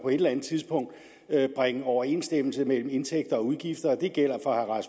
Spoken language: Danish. eller andet tidspunkt bringe overensstemmelse mellem indtægter og udgifter det gælder for